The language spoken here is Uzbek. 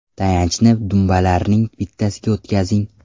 Tayanchni dumbalarning bittasiga o‘tkazing.